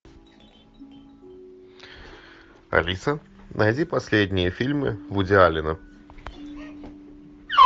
алиса найди последние фильмы вуди аллена